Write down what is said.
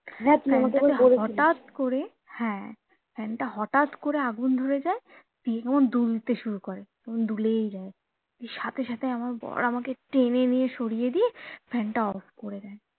হটাৎ করে হ্যা ফ্যান টা হটাৎ করে আগুন ধরে যায় দিয়ে দুলতে শুরু করে দুলেই যায় দিয়ে সাথে সাথে আমার বর আমাকে টেনে নিয়ে সরিয়ে দিয়ে ফ্যান টা off করে দেয়